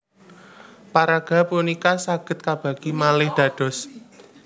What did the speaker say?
Paraga punika saged kabagi malih dados